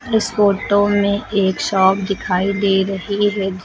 इस फोटो में एक शॉप दिखाई दे रही है।